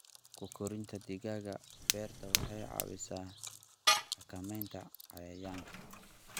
Ku korinta digaagga beerta waxay caawisaa xakamaynta cayayaanka.